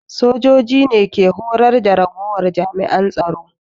Sojoji ne ke horar da ragowar jami'an tsaro